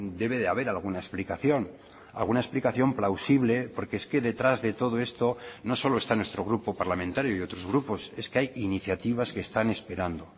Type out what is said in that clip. debe de haber alguna explicación alguna explicación plausible porque es que detrás de todo esto no solo está nuestro grupo parlamentario y otros grupos es que hay iniciativas que están esperando